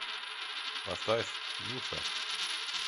поставь нюша